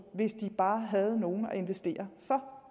hvis de bare har nogen penge at investere for